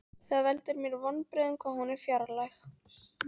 Það veldur mér vonbrigðum hvað hún er fjarlæg.